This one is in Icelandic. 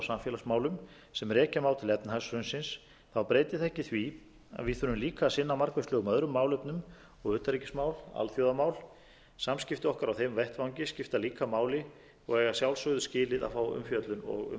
samfélagsmálum sem rekja má til efnahagshrunsins breyti það ekki því að við þurfum líka að sinna margvíslegum öðrum málefnum og utanríkismál alþjóðamál samskipti okkar á þeim vettvangi skipta líka máli og eiga að sjálfsögðu skilið að fá umfjöllun og umræðu það